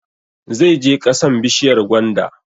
Zai je ƙasan bishiyar gwanda